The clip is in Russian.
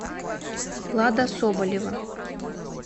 лада соболева